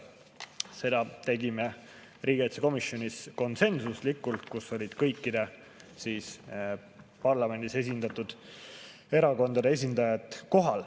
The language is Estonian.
Seda tegime riigikaitsekomisjonis konsensuslikult, kohal olid kõikide parlamendis esindatud erakondade esindajad.